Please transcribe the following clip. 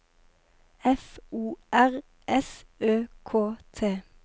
F O R S Ø K T